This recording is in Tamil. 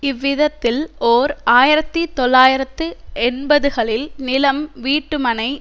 இவ்விதத்தில் ஓர் ஆயிரத்தி தொள்ளாயிரத்து எண்பதுகளில் நிலம் வீட்டுமனை